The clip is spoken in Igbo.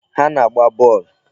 Ha na-agba bọọlụ.